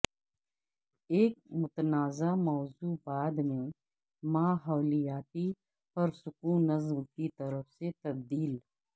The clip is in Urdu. ایک متنازع موضوع بعد میں ماحولیاتی پرسکونزم کی طرف سے تبدیل